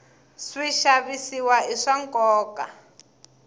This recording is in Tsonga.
swixavisiwa i swa nkoka